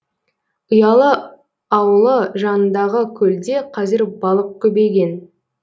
ұялы ауылы жанындағы көлде қазір балық көбейген